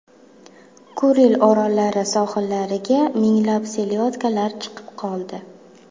Kuril orollari sohillariga minglab selyodkalar chiqib qoldi.